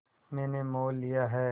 मैंने मोल लिया है